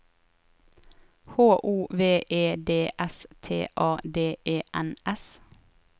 H O V E D S T A D E N S